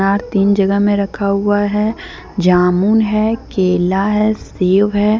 तीन जगह में रखा हुआ है जामुन है केला है सेव है।